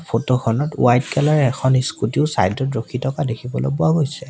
Photo খনত white colour এখন scooty ও চাইড ত ৰখি থকা দেখিবলৈ পোৱা গৈছে।